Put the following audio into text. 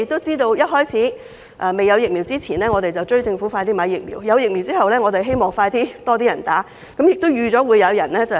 在早前未有疫苗時，我們敦促政府盡快購買疫苗；有疫苗後，我們希望盡快會有更多人接種，但亦預計會有人抹黑。